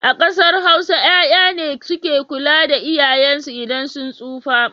A ƙasar Hausa 'ya'ya ne suke kula da iyayensu idan sun tsufa.